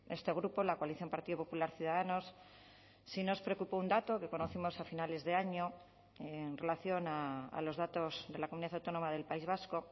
este grupo la coalición partido popular ciudadanos sí nos preocupó un dato que conocimos a finales de año en relación a los datos de la comunidad autónoma del país vasco